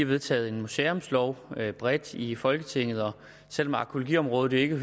vedtaget en museumslov bredt i folketinget og selv om arkæologiområdet ikke